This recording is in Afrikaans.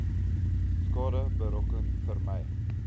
skade berokken vermy